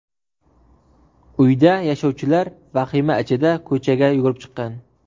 Uyda yashovchilar vahima ichida ko‘chaga yugurib chiqqan.